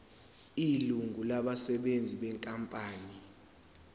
ilungu labasebenzi benkampani